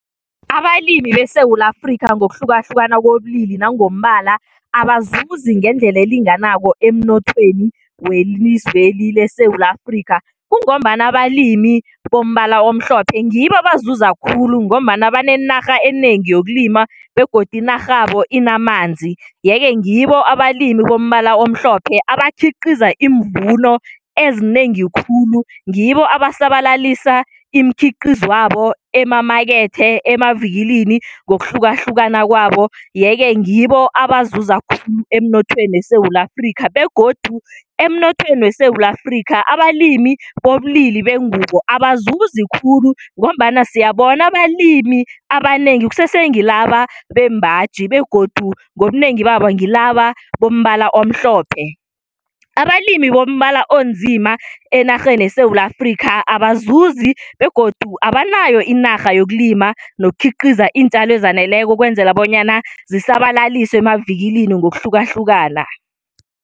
Abalimi beSewula Afrikha ngokuhlukahlukana kobulili nangombala abazuzi ngendlela elinganako emnothweni welizweli leSewula Afrikha kungombana abalimi bombala omhlophe ngibo abazuza khulu ngombana banenarha enengi yokulima begodu inarhabo inamanzi. Yeke ngibo abalimi bombala omhlophe abakhiqiza iimvuno ezinengi khulu ngibo abasabalalisa imikhiqizwabo emamakethe, emavikilini ngokuhlukahlukana kwabo, yeke ngibo abazuza khulu emnothweni weSewula Afrikha begodu emnothweni weSewula Afrikha abalimi bobulili bengubo abazuzi khulu ngombana siyabona abalimi abanengi kusese ngilaba bembaji begodu ngobunengi babo ngilaba bombala omhlophe. Abalimi bombala onzima enarheni yeSewula Afrikha abazuzi begodu abanayo inarha yokulima nokukhiqiza iintjalo ezaneleko ukwenzela bonyana zisabalalise emavikilini ngokuhlukahlukana.